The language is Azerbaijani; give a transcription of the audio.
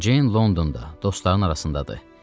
Ceyn Londonda dostlarının arasındadır.